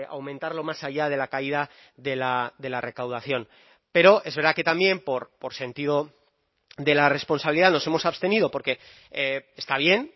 aumentarlo más allá de la caída de la recaudación pero es verdad que también por sentido de la responsabilidad nos hemos abstenido porque está bien